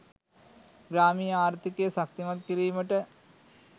ග්‍රාමීය ආර්ථිකය ශක්තිමත් කිරීමට